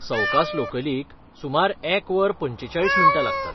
सवकास लोकलीक सुमार एक वर पंचेचाळीस मिण्टां लागतात.